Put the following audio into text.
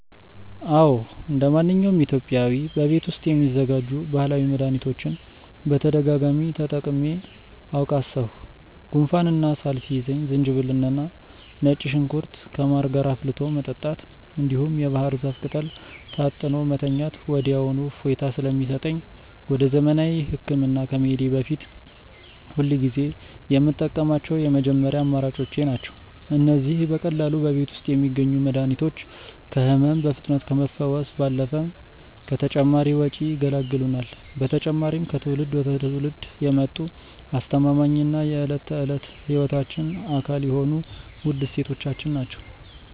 አዎ እንደማንኛውም ኢትዮጵያዊ በቤት ውስጥ የሚዘጋጁ ባህላዊ መድኃኒቶችን በተደጋጋሚ ተጠቅሜአውቃሠሁ። ጉንፋንና ሳል ሲይዘኝ ዝንጅብልና ነጭ ሽንኩርት ከማር ጋር አፍልቶ መጠጣት፣ እንዲሁም የባህር ዛፍ ቅጠል ታጥኖ መተኛት ወዲያውኑ እፎይታ ስለሚሰጠኝ ወደ ዘመናዊ ሕክምና ከመሄዴ በፊት ሁልጊዜ የምጠቀማቸው የመጀመሪያ አማራጮቼ ናቸው። እነዚህ በቀላሉ በቤት ውስጥ የሚገኙ መድኃኒቶች ከሕመም በፍጥነት ከመፈወስ ባለፈ ከተጨማሪ ወጪ ይገላግሉናል። በተጨማሪም ከትውልድ ወደ ትውልድ የመጡ አስተማማኝና የዕለት ተዕለት ሕይወታችን አካል የሆኑ ውድ እሴቶቻችን ናቸው።